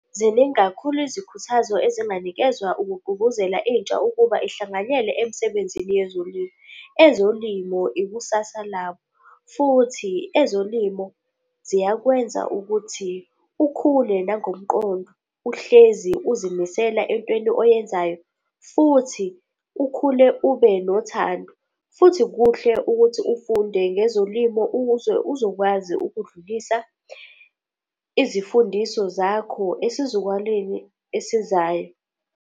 Ziningi kakhulu izikhuthazo ezinganikezwa ukugqugquzela intsha ukuba ihlanganyele emsebenzini yezolimo. Ezolimo ikusasa labo futhi ezolimo ziyakwenza ukuthi ukhule nangomqondo, uhlezi uzimisela entweni oyenzayo, futhi ukhule ube nothando. Futhi kuhle ukuthi ufunde ngezolimo ukuze uzokwazi ukudlulisa izifundiso zakho esizukwaleni esizayo.